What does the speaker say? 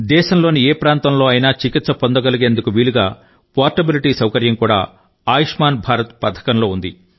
దేశంలోని ఏ ప్రాంతంలో అయినా చికిత్స పొందగలిగేందుకు వీలుగా పోర్టబిలిటీ సౌకర్యం కూడా ఆయుష్మాన్ భారత్ పథకంలో ఉంది